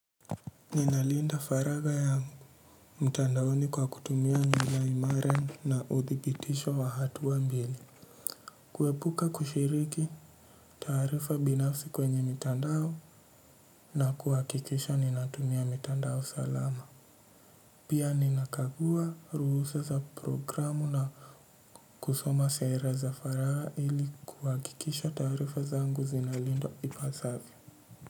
Ninalinda faraha ya mtadaoni kwa kutumia lunga imara na uvibitisho wa hatua mbili. Kuepuka kushiriki tarifa binafsi kwenye mtandao na kuhakikisha ninatumia mtandao salama. Pia nikagua ruhusa na programu kusoma sera za faraha ili kuhakikisha tarifa zangu zinalindwa ipazavyo.